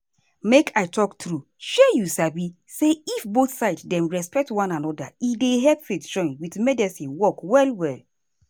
make i talk true shey you sabi say if both side dem respect one anoda e dey help faith join with medicine work well well.